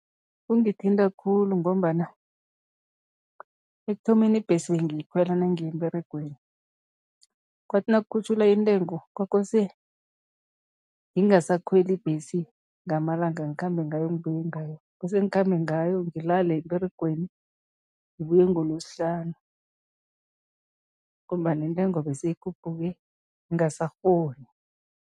Kungithinta khulu ngombana ekuthomeni ibhesi bengiyikhwela nangiya emberegweni, kwathi nakukhutjhulwa intengo, kwakose ngingasakhweli ibhesi ngamalanga, ngikhambe ngayo ngibuye ngayo, kose ngikhambe ngayo, ngilalele emberegweni, ngibuye ngolosihlanu ngombana intengo beseyikhuphuke ngingasakghoni.